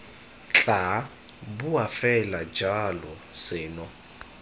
tla boa fela jalo seno